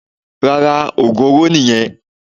Rárá, ògún oro nìyẹn.